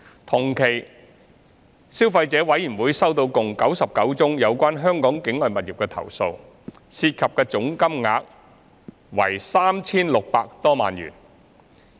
同期，消費者委員會收到共99宗有關香港境外物業的投訴，涉及的總金額為 3,600 多萬元。